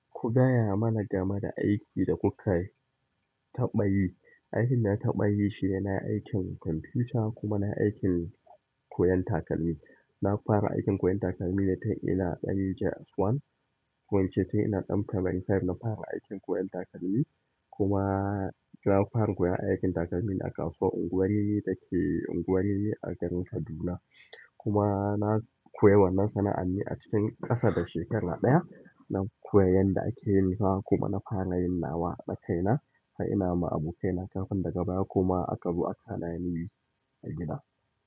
Ku gaya mana game da aiki da ku ka taɓa yi. Aikin da na taɓa yi shine nayi aikin kwamfuta kuma na yi aikin koyon takalmi. Na fara aikin koyon takalmi ne tun ina da JS ɗaya ko in ce tun ina ɗan primary biyar na fara aikin koyon takalmi. Kuma na fara koyon aikin takalmi ne a kasuwar unguwar rimi da ke unguwar rimi a garin Kaduna. Kuma na koyin wannan sana'ar ne a cikin ƙasa da shekara ɗaya. Na koyin yanda ake yin sa kuma na fara yin nawa na kaina, har ina ma abokaina kafin daga baya kuma aka zo aka hana ni yi a gida.